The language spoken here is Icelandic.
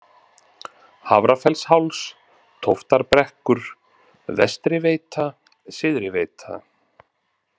Hafrafellsháls, Tóftarbrekkur, Vestriveita, Syðriveita